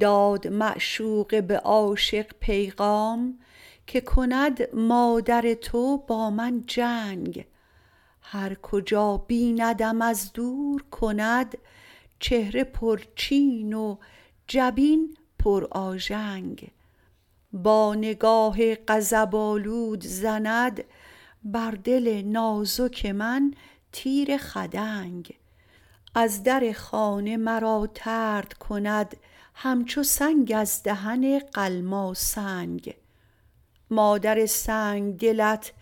داد معشوقه به عاشق پیغام که کند مادر تو با من جنگ هر کجا بیندم از دور کند چهره پرچین و جبین پر آژنگ با نگاه غضب آلود زند بر دل نازک من تیر خدنگ از در خانه مرا طرد کند همچو سنگ از دهن قلماسنگ مادر سنگدلت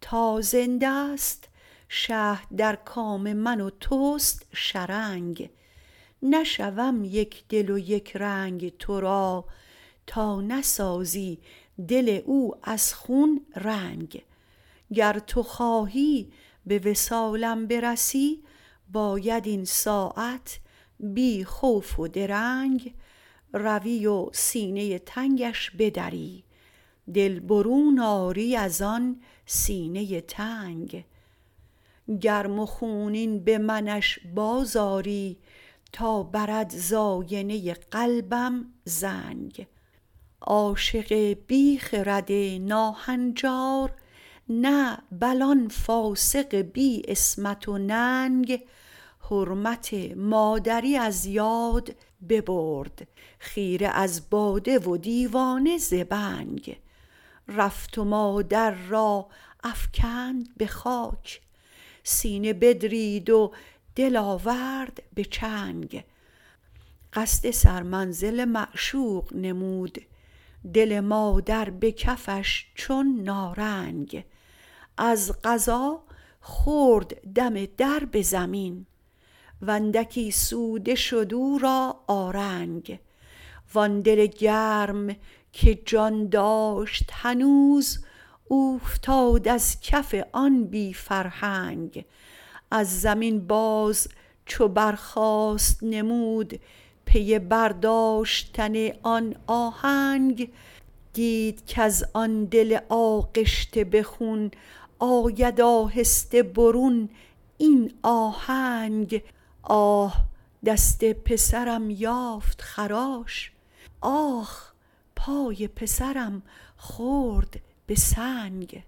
تا زنده ست شهد در کام من و توست شرنگ نشوم یک دل و یک رنگ تو را تا نسازی دل او از خون رنگ گر تو خواهی به وصالم برسی باید این ساعت بی خوف و درنگ روی و سینه تنگش بدری دل برون آری از آن سینۀ تنگ گرم و خونین به منش باز آری تا برد ز آینه قلبم زنگ عاشق بی خرد ناهنجار نه بل آن فاسق بی عصمت و ننگ حرمت مادری از یاد ببرد خیره از باده و دیوانه ز بنگ رفت و مادر را افکند به خاک سینه بدرید و دل آورد به چنگ قصد سرمنزل معشوق نمود دل مادر به کفش چون نارنگ از قضا خورد دم در به زمین و اندکی سوده شد او را آرنگ وان دل گرم که جان داشت هنوز اوفتاد از کف آن بی فرهنگ از زمین باز چو برخاست نمود پی برداشتن آن آهنگ دید کز آن دل آغشته به خون آید آهسته برون این آهنگ آه دست پسرم یافت خراش آخ پای پسرم خورد به سنگ